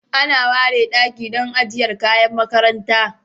Ana ware daki don ajiyar kayan makaranta